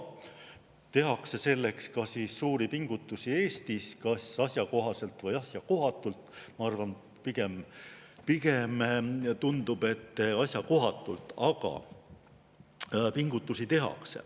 Tehakse selleks ka suuri pingutusi Eestis kas asjakohaselt või asjakohatult – ma arvan, pigem tundub, et asjakohatult –, aga pingutusi tehakse.